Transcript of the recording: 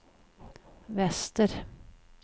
väster